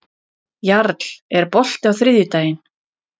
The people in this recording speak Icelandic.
Jarl, er bolti á þriðjudaginn?